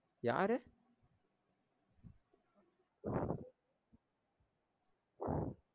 யாரு